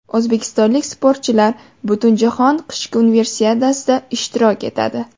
O‘zbekistonlik sportchilar Butunjahon qishki universiadasida ishtirok etadi.